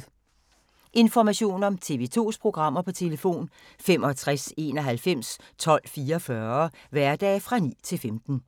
Information om TV 2's programmer: 65 91 12 44, hverdage 9-15.